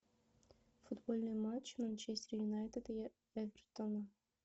футбольный матч манчестер юнайтед и эвертона